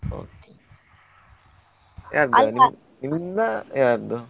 Okay ನಿಮ್ದ ಯಾರ್ದು.